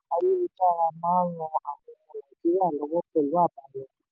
ayélujára máa ń ràn àwọn ọmọ nàìjíríà lọ́wọ́ pẹ̀lú àbáyọ.